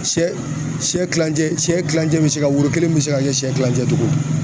Sɛ siyɛ kilancɛ sɛ kilancɛ bɛ se ka woro kelen bi se ka kɛ siyɛ kilancɛ cogo ?